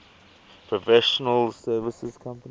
professional services company